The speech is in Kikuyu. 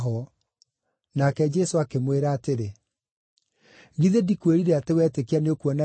Nake Jesũ akĩmwĩra atĩrĩ, “Githĩ ndikwĩrire atĩ wetĩkia nĩũkuona riiri wa Ngai?”